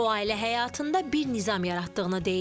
O ailə həyatında bir nizam yaratdığını deyir.